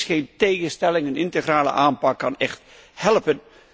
Niks geen tegenstellingen, een integrale aanpak kan echt helpen.